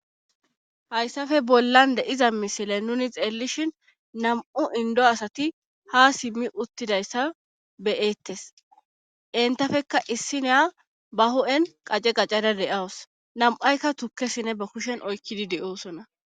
Hayssafe bollan deiza misile nuni xeellishin nam'u indo asati ha simmi uttidayssa beyeettes entafekka issineya ba ho'en qace qacada de'aws nam'aykka tukkesine ba kushen oykkidi de'oosona.